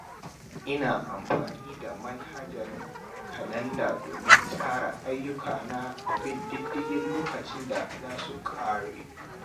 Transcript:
Ina amfani da manhajar kalanda don tsara ayyukana da bin diddigin lokacin da za su ƙare.